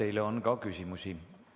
Teile on ka küsimusi.